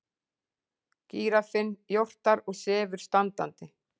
Gíraffinn jórtrar og sefur standandi.